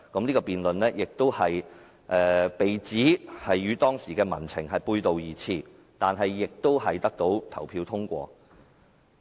這項辯論亦被指與當時的民情背道而馳，但亦在投票中獲得通過。